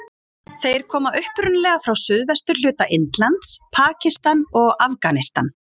Þeir koma upprunalega frá suðvesturhluta Indlands, Pakistan og Afganistan.